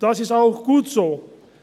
Das ist auch gut so.